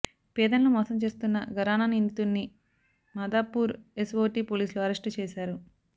పేదలను మోసం చేస్తున్న ఘరాన నిందితుడిని మాదాపూర్ ఎస్ఓటీ పోలీసులు అరెస్టు చేశారు